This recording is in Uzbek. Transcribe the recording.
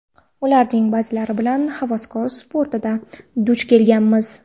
Ularning ba’zilari bilan havaskor sportda duch kelganmiz.